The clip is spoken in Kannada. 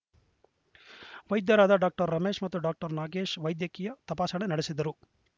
ವೈದ್ಯರಾದ ಡಾಕ್ಟರ್ ರಮೇಶ್‌ ಮತ್ತು ಡಾಕ್ಟರ್ ನಾಗೇಶ್‌ ವೈದ್ಯಕೀಯ ತಪಾಸಣೆ ನಡೆಸಿದರು